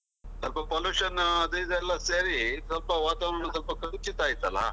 ಸ್ವಲ್ಪ pollution ಅದು ಇದು ಎಲ್ಲ ಸೇರಿ, ಸ್ವಲ್ಪ ವಾತಾವರಣ ಸ್ವಲ್ಪ ಕಲುಷಿತ ಆಯ್ತಲ್ಲ.